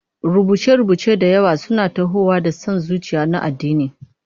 Rubuce-rubuce da yawa suna tahowa da son zuciya na addini.